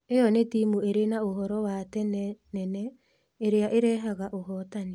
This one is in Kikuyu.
ĩyo nĩ timu irĩ na úhoro wa tene nene, ĩrĩa ĩrehaga ũhotani.